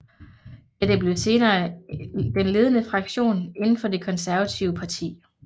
Dette blev senere den ledende fraktion inden for det konservative parti